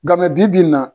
Nka mɛ bi bi in na